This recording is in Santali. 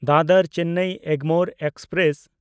ᱫᱟᱫᱚᱨ-ᱪᱮᱱᱱᱟᱭ ᱮᱜᱽᱢᱳᱨ ᱮᱠᱥᱯᱨᱮᱥ